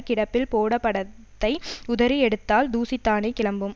கிடப்பில் போட படத்தை உதறி எடுத்தால் தூசிதானே கிளம்பும்